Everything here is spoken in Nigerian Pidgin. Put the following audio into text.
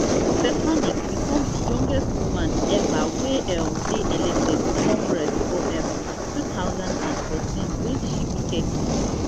stefanik become di youngest woman eva wey um dey elected to congress for um two thousand and fourteen wen she be thirty